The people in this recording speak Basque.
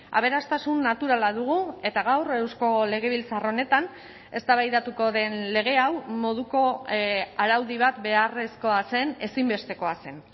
aberastasun naturala dugu eta gaur eusko legebiltzar honetan eztabaidatuko den lege hau moduko araudi bat beharrezkoa zen ezinbestekoa zen